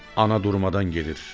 Ana durmadan gedir.